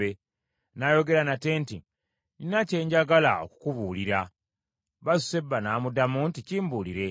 N’ayogera nate nti, “Nnina kye njagala okukubuulira.” Basuseba n’amuddamu nti, “Kimbuulire.”